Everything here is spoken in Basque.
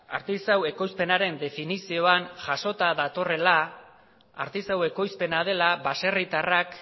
artisau ekoizpenaren definizioan jasota datorrela artisau ekoizpena dela baserritarrak